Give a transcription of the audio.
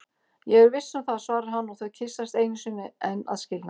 Ég er viss um það, svarar hann og þau kyssast einu sinni enn að skilnaði.